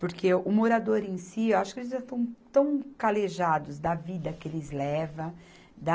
Porque o morador em si, eu acho que eles já estão tão calejados da vida que eles leva, da